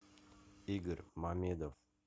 игорь мамедов